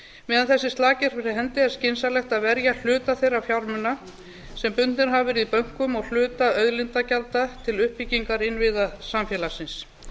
meðan þessi slaki er fyrir hendi er skynsamlegt að verja hluta þeirra fjármuna sem bundnir hafa verið í bönkum og hluta auðlindagjalda til uppbyggingar innviða samfélagsins